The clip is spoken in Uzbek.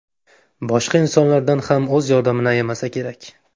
Boshqa insonlardan ham o‘z yordamini ayamasa kerak”.